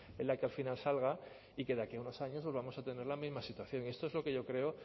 en la que al final salga y que de aquí a unos años volvamos a tener la misma situación esto es lo que yo creo